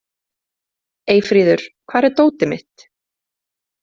Eyfríður, hvar er dótið mitt?